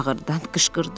Ağırtdan qışqırdı.